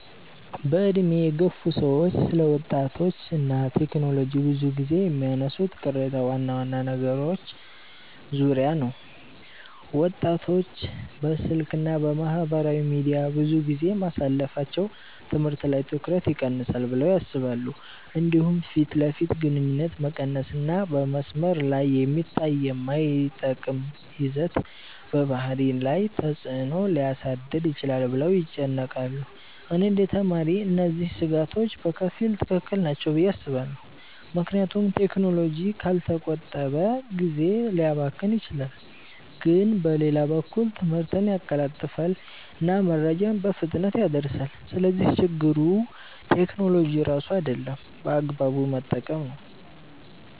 በዕድሜ የገፉ ሰዎች ስለ ወጣቶች እና ቴክኖሎጂ ብዙ ጊዜ የሚያነሱት ቅሬታ ዋና ዋና ነገሮች ዙሪያ ነው። ወጣቶች በስልክ እና በማህበራዊ ሚዲያ ብዙ ጊዜ ማሳለፋቸው ትምህርት ላይ ትኩረት ይቀንሳል ብለው ያስባሉ። እንዲሁም ፊት ለፊት ግንኙነት መቀነስ እና በመስመር ላይ የሚታይ የማይጠቅም ይዘት በባህሪ ላይ ተፅዕኖ ሊያሳድር ይችላል ብለው ይጨነቃሉ። እኔ እንደ ተማሪ እነዚህ ስጋቶች በከፊል ትክክል ናቸው ብዬ አስባለሁ፣ ምክንያቱም ቴክኖሎጂ ካልተቆጠበ ጊዜ ሊያባክን ይችላል። ግን በሌላ በኩል ትምህርትን ያቀላጥፋል እና መረጃን በፍጥነት ያደርሳል። ስለዚህ ችግሩ ቴክኖሎጂ ራሱ አይደለም፣ በአግባቡ መጠቀም ነው።